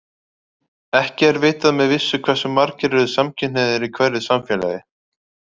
Ekki er vitað með vissu hversu margir eru samkynhneigðir í hverju samfélagi.